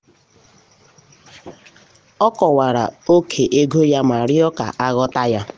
o kọwara ókè ego ya ma rịọ ka um a ghọta ya.